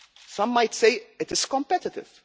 some might say it is competitive.